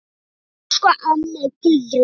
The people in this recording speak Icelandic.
Elsku amma Guðrún.